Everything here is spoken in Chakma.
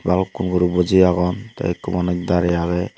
balukkun guro buji agon te ekko manus dare agey.